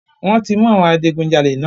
Wọ́n ti mú àwọn adigunjalè náà.